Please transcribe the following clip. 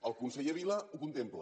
el conseller vila ho contempla